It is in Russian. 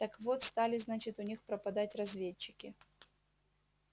так вот стали значит у них пропадать разведчики